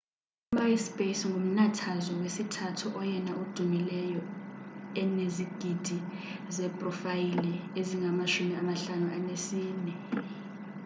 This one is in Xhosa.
u-myspace ngumnathazwe wesithathu oyena udumileyo enizigidi zeeprofayile eziyi-54